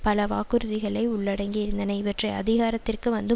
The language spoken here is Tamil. பல வாக்குறுதிகளை உள்ளடங்கியிருந்தன இவற்றை அதிகாரத்திற்கு வந்து